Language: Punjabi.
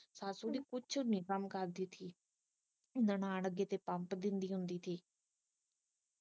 ਸੱਸ ਓਦੀ ਕੁਛ ਵੀ ਨਹੀਂ ਕੰਮ ਕਰਦੀ ਸੀ ਨਨਾਣ ਅੱਗੇ ਤੇ ਪੰਪ ਦਿੰਦੀ ਹੁੰਦੀ ਸੀ